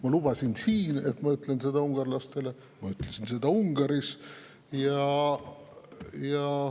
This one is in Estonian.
Ma lubasin siin, et ma ütlen seda ungarlastele, ja Ungaris ma seda ütlesingi.